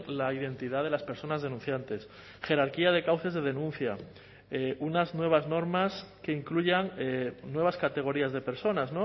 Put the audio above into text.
la identidad de las personas denunciantes jerarquía de cauces de denuncia unas nuevas normas que incluyan nuevas categorías de personas